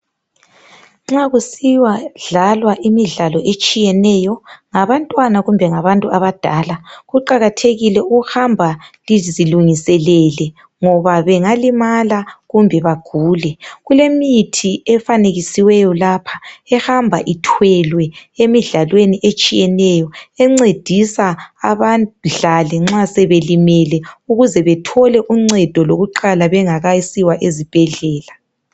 Nxa kusiya dlalwa imidlalo etshiyeneyo ngabantwana kumbe ngabantu abadala kuqakathekile ukuhamba lizilungiselele ngoba bengalimala kumbe bagule. Kulemithi efanekisiweyo lapha ehamba ithwelwe emidlalweni etshiyeneyo encedisa abadlali nxa sebelimele ukuze bethole uncedo lokuqala bengakasiwa ezibhedlela.